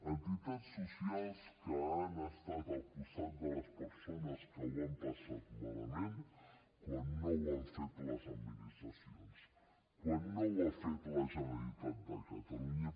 entitats socials que han estat al costat de les persones que ho han passat malament quan no ho han fet les administracions quan no ho ha fet la generalitat de catalunya